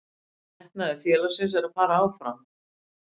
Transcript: Metnaður félagsins er að fara áfram.